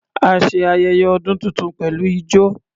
A ṣe ayẹyẹ ọdún tuntun pẹ̀lú ijọ.